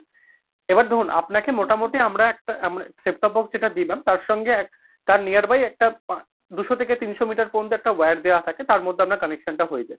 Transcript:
এবার ধরুন আপনাকে মোটামুটি আমরা একটা set top box যেটা দিলাম, তার সঙ্গে এক তার nearby একটা দুশো থেকে তিনশ meter পর্যন্ত একটা wire দেওয়া থাকে তারমধ্যে আপনার connection টা হয়ে যায়।